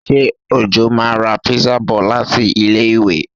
Ṣé Òjó máa ra pizza bọ̀ láti ilé-ìwé?